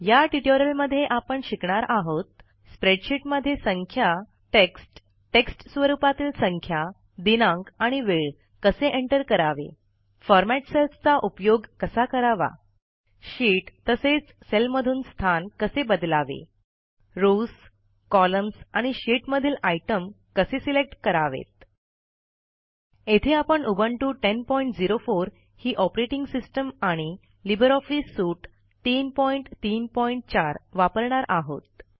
या ट्युटोरियलमध्ये आपण शिकणार आहोत स्प्रेडशीटमध्ये संख्या टेक्स्ट टेक्स्टस्वरूपातील संख्या दिनांक आणि वेळ कसे एंटर करावे फॉरमॅट सेल्सचा उपयोग कसा करावा शीट तसेच सेलमधून स्थान कसे बदलावे रॉव्स कॉलम्स आणि शीट मधील आयटम कसे सिलेक्ट करावेत येथे आपण उबंटु 1004 ही ऑपरेटिंग सिस्टीम आणि लिब्रे ऑफिस सूट 334 वापरणार आहोत